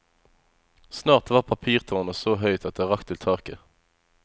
Snart var papirtårnet så høyt at det rakk til taket.